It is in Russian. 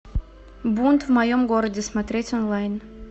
бунт в моем городе смотреть онлайн